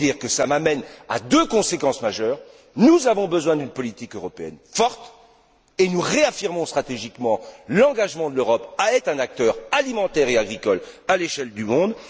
Cela m'amène à deux conséquences majeures nous avons besoin d'une politique européenne forte et nous réaffirmons stratégiquement l'engagement de l'Europe à être un acteur alimentaire et agricole à l'échelle du monde.